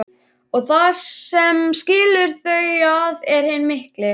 Og það sem skilur þau að er hinn mikli